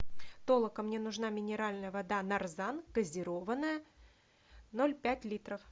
толока мне нужна минеральная вода нарзан газированная ноль пять литров